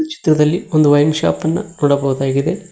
ಚಿತ್ರದಲ್ಲಿ ಒಂದು wine shop ಅನ್ನ ನೋಡಬೋದಾಗಿದೆ.